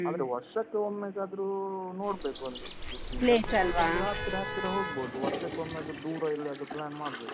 ಆದ್ರೆ ವರ್ಷಕ್ಕೆ ಒಮ್ಮೆಗಾದ್ರೂ ನೋಡ್ಬೇಕು, ಒಂದು . ಹತ್ತಿರ ಹತ್ತಿರ ಹೋಗ್ಬೋದು. ವರ್ಷಕ್ಕೊಮ್ಮೆಯಾದ್ರೂ ದೂರ ಎಲ್ಲಿಯಾದ್ರೂ plan ಮಾಡ್ಬೇಕು.